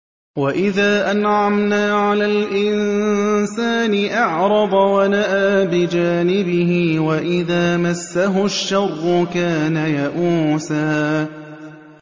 وَإِذَا أَنْعَمْنَا عَلَى الْإِنسَانِ أَعْرَضَ وَنَأَىٰ بِجَانِبِهِ ۖ وَإِذَا مَسَّهُ الشَّرُّ كَانَ يَئُوسًا